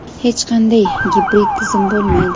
Hech qanday gibrid tizim bo‘lmaydi.